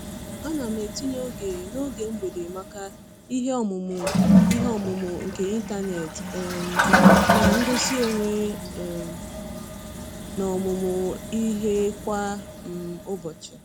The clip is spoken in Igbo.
Ana m etinye oge n'oge mgbede maka ihe ọmụmụ ihe ọmụmụ nke ịntanet um na ngosi onwe um n'ọmụmụ ihe kwa um ụbọchị.